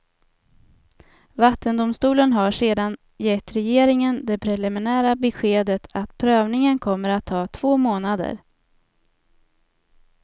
Vattendomstolen har sedan gett regeringen det preliminära beskedet att prövningen kommer att ta två månader.